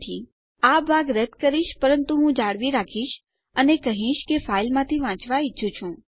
તો હું આ ભાગ રદ કરીશ પરંતુ હું આ જાળવી રાખીશ અને હવે હું કહીશ હું ફાઈલમાંથી વાંચવા ઈચ્છું છું